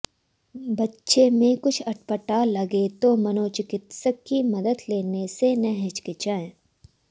बच्चे में कुछ अटपटा लगे तो मनोचिकित्सक की मदद लेने से न हिचकिचाएं